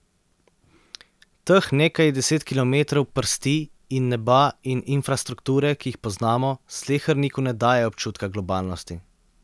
Teh nekaj deset kilometrov prsti in neba in infrastrukture, ki jih poznamo, sleherniku ne daje občutka globalnosti.